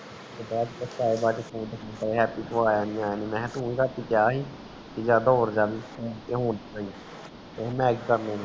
happy ਤੂੰ ਆਯਾ ਨੀ ਆਯਾ ਮੈਂ ਕਿਹਾ ਤੂੰ ਰਾਤੀ ਗਿਆ ਸੀ ਕਹਿੰਦਾ night ਕਰਨੀ